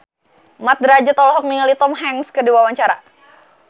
Mat Drajat olohok ningali Tom Hanks keur diwawancara